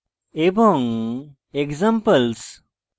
এবং examples